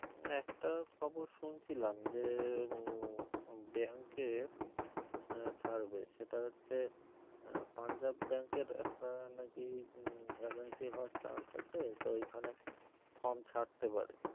হম একটা খবর শুনছিলাম যে আহ bank এর আহ ছাড়বে সেটা হচ্ছে আহ পাঞ্জাব bank এর একটা নাকি vacancy হওয়ার chance আছে তো ওইখানে form ছাড়তে পারে